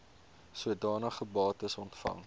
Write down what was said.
sodanige bates ontvang